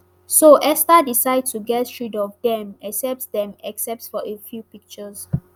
so esther decide to get rid of dem except dem except for a few pictures